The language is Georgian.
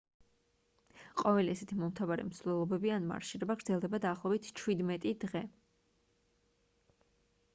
ყოველი ესეთი მომთაბარე მსვლელობები ან მარშირება გრძელდება დაახლოებით 17 დღე